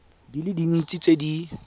di le dintsi tse di